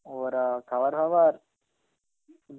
ওরা খাবার ফাবার.